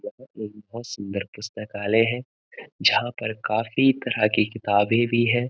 यह एक बहुत सुंदर पुस्तकालय है जहाँ पर काफी तरह की किताबें भी हैं।